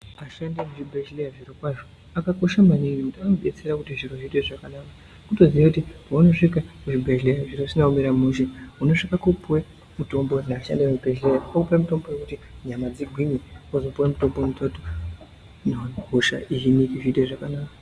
Ashandi ekuzvibhedhleya zvirokwazvo akakosha maningi ngekuti anobetsera maningi kuti Zviro zviite zvakanaka kutozita kuti paunosvika kuzvibhedhleya zviro zvisina kumira mushe unosvika kopuwe mitombo neashandi emuzvibhedhleya okupe mutombo wekuti nyama dzigwinye ozopuwe mutombo inoite kuti hosha dzihinike zviite zvakanaka.